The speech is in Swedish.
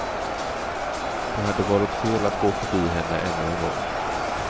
Det hade varit fel att gå förbi henne ännu en gång.